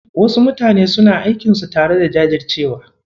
Wasu mutanen suna aikinsu tare da jajircewa.